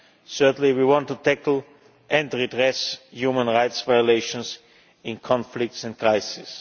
Certainly we want to tackle and redress human rights violations in conflicts and crises.